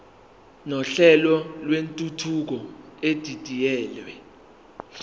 nohlelo lwentuthuko edidiyelwe